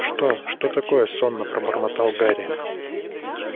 что что такое сонно пробормотал гарри